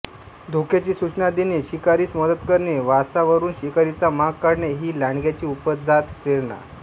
धोक्याची सूचना देणे शिकारीस मदत करणे वासावरून शिकारीचा माग काढणे ही लांडग्यांची उपजत प्रेरणा